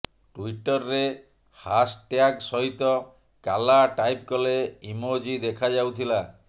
ଟ୍ୱିଟରରେ ହାଶଟ୍ୟାଗ୍ ସହିତ କାଲା ଟାଇପ କଲେ ଇମୋଜୀ ଦେଖାଯାଉଥିଲା